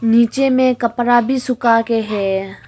नीचे में कपड़ा भी सूखा के है।